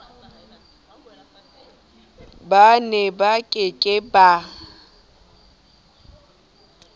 ba neba ke ke ba